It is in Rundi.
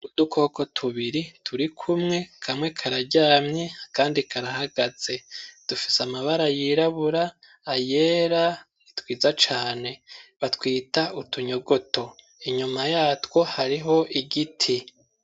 Kudukoko tubiri turi kumwe kamwe kararyamye akandi karahagaze dufise amabara yirabura ayera nitwiza cane batwita utunyogoto inyuma yatwo hariho igiti.